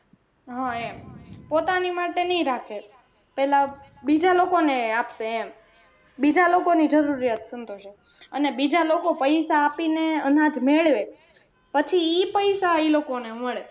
હમ એમ પોતાની માટે નઈ રાખે પહેલા બીજા લોકો ને આપશે એમ બીજા લોકો ની જરૂરિયાત સંતોષે અને બીજા લોકો પૈસા આપીને અનાજ મેળવે પછી ઈ પૈસા ઈ લોકો ને મળે.